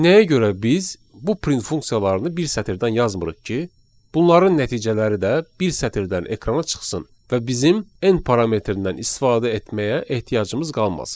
Nəyə görə biz bu print funksiyalarını bir sətirdən yazmırıq ki, bunların nəticələri də bir sətirdən ekrana çıxsın və bizim end parametrindən istifadə etməyə ehtiyacımız qalmasın.